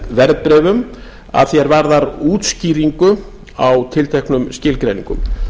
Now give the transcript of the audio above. verðbréfum að því er varðar útskýringu á tilteknum skilgreiningum